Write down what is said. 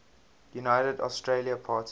united australia party